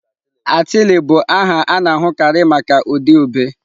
Atịlị bụ aha a na-ahụkarị maka ụdị ube.